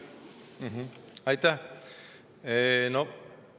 Aitäh!